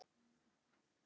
Gangi okkur vel.